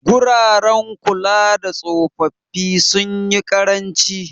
Guraren kulada tsofaffi sunyi ƙaranci.